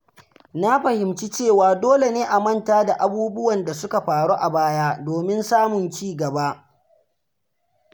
Na fahimci cewa dole ne a manta da abubuwan da suka faru a baya domin samun ci gaba.